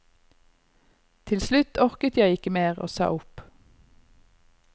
Til slutt orket jeg ikke mer og sa opp.